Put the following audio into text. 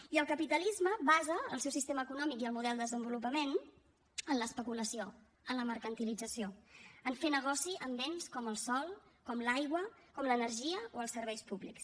i el capitalisme basa el seu sistema econòmic i el model de desenvolupament en l’especulació en la mercantilització en fer negoci amb béns com el sòl com l’aigua com l’energia o els serveis públics